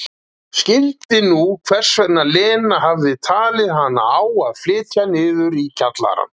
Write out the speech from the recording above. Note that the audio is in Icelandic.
Skildi nú hvers vegna Lena hafði talið hana á að flytja niður í kjallarann.